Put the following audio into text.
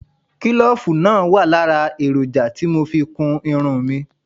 Kílòfù náà wà lára èròjà tí mo fi kún irun mi